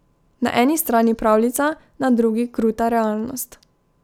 Na eni strani pravljica, na drugi kruta realnost.